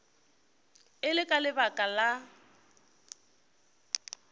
e le ka lebaka la